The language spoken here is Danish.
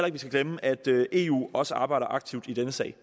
at vi skal glemme at eu også arbejder aktivt i denne sag